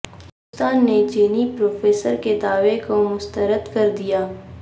ہندوستان نے چینی پروفیسر کے دعوے کو مسترد کردیا